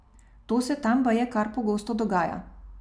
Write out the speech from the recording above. To se tam baje kar pogosto dogaja.